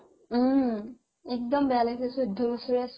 উম, একদম বেয়া লাগিছে চৈধ্য বছৰীয়া ছোৱালি